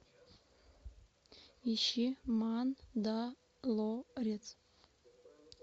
ищи мандалорец